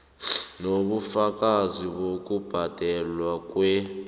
nobufakazi bokubhadelwa kwer